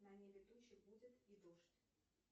на небе тучи будет и дождь